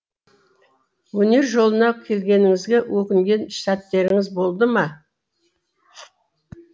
өнер жолына келгеніңізге өкінген сәттеріңіз болды ма